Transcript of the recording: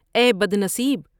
اے بدنصیب!